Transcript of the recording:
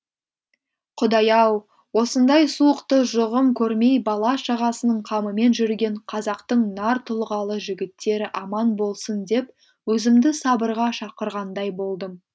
құдай ау осындай суықты жұғым көрмей бала шағасының қамымен жүрген қазақтың нар тұлғалы жігіттері аман болсын деп өзімді сабырға шақырғандай болдым